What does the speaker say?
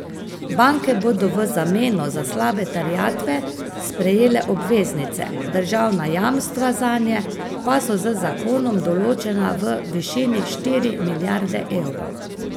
Banke bodo v zameno za slabe terjatve prejele obveznice, državna jamstva zanje pa so z zakonom določena v višini štiri milijarde evrov.